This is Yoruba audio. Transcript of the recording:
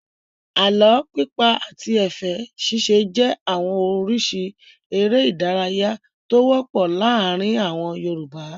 Àlọ́ pípa àti ẹ̀fẹ̀ ṣíṣe jẹ́ àwọn oríṣi eré-idárayá tó wọ́pọ̀ láàárin àwọn Yorùbá.